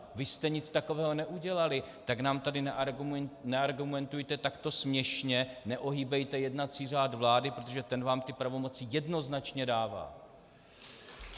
Vy jste nic takového neudělali, tak nám tady neargumentujte takto směšně, neohýbejte jednací řád vlády, protože ten vám ty pravomoci jednoznačně dává.